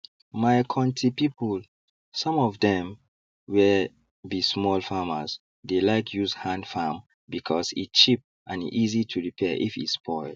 my konti people some of dem were be small farmers dey like use hand farm because e cheap and easy to repair if e spoil